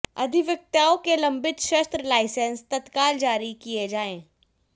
अधिवक्तओं के लंबित शस्त्र लाइसेंस तत्काल जारी किए जाएं